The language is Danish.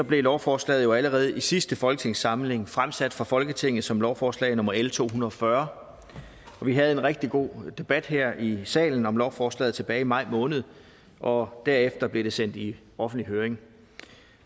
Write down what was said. blev lovforslaget jo allerede i sidste folketingssamling fremsat for folketinget som lovforslag nummer l to hundrede og fyrre vi havde en rigtig god debat her i salen om lovforslaget tilbage i maj måned og derefter blev det sendt i offentlig høring